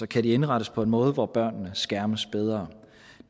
kan indrettes på en måde hvor børnene skærmes bedre